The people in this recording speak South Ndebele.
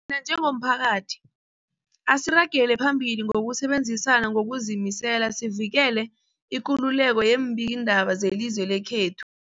njengomphakathi, asiragele phambili ngokusebenzisana ngokuzimisela sivikele ikululeko yeembikiindaba zelizwe lekhethu.